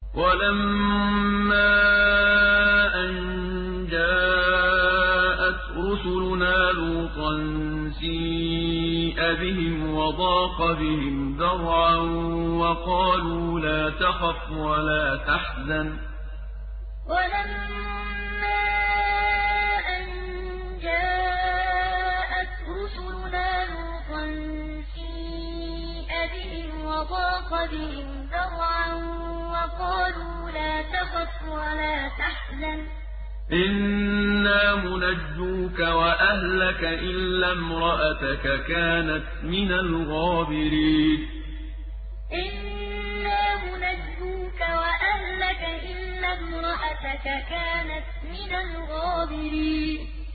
وَلَمَّا أَن جَاءَتْ رُسُلُنَا لُوطًا سِيءَ بِهِمْ وَضَاقَ بِهِمْ ذَرْعًا وَقَالُوا لَا تَخَفْ وَلَا تَحْزَنْ ۖ إِنَّا مُنَجُّوكَ وَأَهْلَكَ إِلَّا امْرَأَتَكَ كَانَتْ مِنَ الْغَابِرِينَ وَلَمَّا أَن جَاءَتْ رُسُلُنَا لُوطًا سِيءَ بِهِمْ وَضَاقَ بِهِمْ ذَرْعًا وَقَالُوا لَا تَخَفْ وَلَا تَحْزَنْ ۖ إِنَّا مُنَجُّوكَ وَأَهْلَكَ إِلَّا امْرَأَتَكَ كَانَتْ مِنَ الْغَابِرِينَ